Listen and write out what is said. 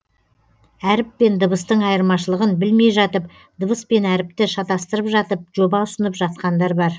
әріп пен дыбыстың айырмашылығын білмей жатып дыбыс пен әріпті шатастырып жатып жоба ұсынып жатқандар бар